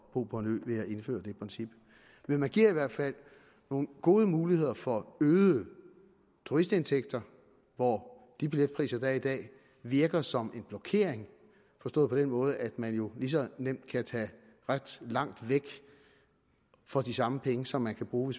bo på en ø ved at indføre det princip men det giver i hvert fald nogle gode muligheder for øgede turistindtægter hvor de billetpriser der er i dag virker som en blokering forstået på den måde at man jo lige så nemt kan tage ret langt væk for de samme penge som man skal bruge